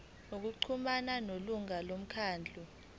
ngokuxhumana nelungu lomkhandlu